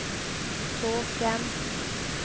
tåke